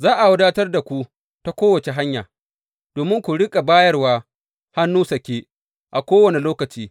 Za a wadatar da ku ta kowace hanya, domin ku riƙa bayarwa hannu sake a kowane lokaci.